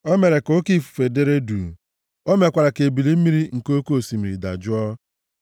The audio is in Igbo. O mere ka oke ifufe dere duu; o mekwara ka ebili mmiri nke oke osimiri dajụọ.